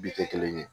Bi kɛ kelen ye